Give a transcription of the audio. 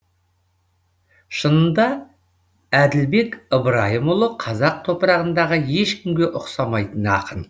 шынында әділбек ыбырайымұлы қазақ топырағындағы ешкімге ұқсамайтын ақын